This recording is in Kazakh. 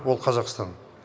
ол қазақстан